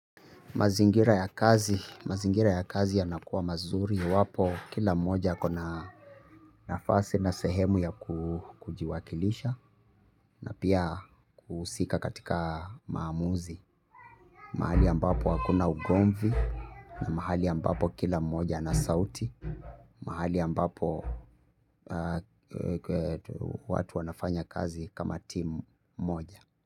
Mazingira ya kazi, mazingira ya kazi yanakuwa mazuri, iwapo kila moja akona nafasi na sehemu ya kujiwakilisha na pia kuhusika katika maamuzi, mahali ambapo hakuna ugomvi na mahali ambapo kila mmoja ana sauti, mahali ambapo watu wanafanya kazi kama timu moja.